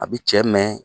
A bi cɛ mɛɛn